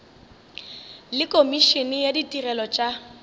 le komišene ya ditirelo tša